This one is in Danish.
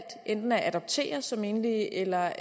enten at adoptere som enlige eller